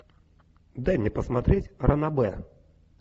дай мне посмотреть ранобэ